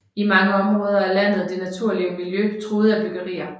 I mange områder af landet er det naturlige miljø truet af byggerier